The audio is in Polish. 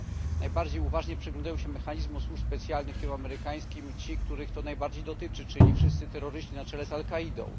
Nie, najbardziej uważnie przyglądają się mechanizmom służb specjalnych tych amerykańskich ci, których to najbardziej dotyczy, czyli wszyscy terroryści na czele z Al kaidą.